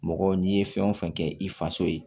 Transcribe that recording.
Mɔgɔ n'i ye fɛn o fɛn kɛ i faso ye